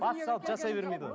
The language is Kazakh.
бас салып жасай бермейді ғой